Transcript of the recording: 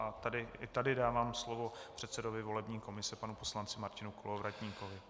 I tady dávám slovo předsedovi volební komise panu poslanci Martinu Kolovratníkovi.